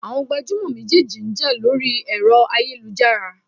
Àwọn gbajúmọ̀ méjèèjì ń jà lórí ẹ̀rọ ayélujára.